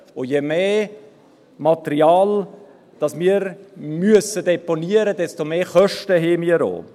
Und je mehr Material wir deponieren müssen, desto mehr Kosten haben wir auch.